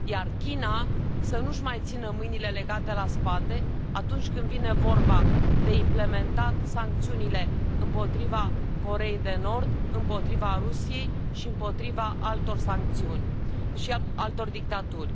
China să nu își mai țină mâinile legate la spate, atunci când vine vorba de implementat sancțiunile împotriva Coreei de Nord, împotriva Rusiei și împotriva altor dictaturi.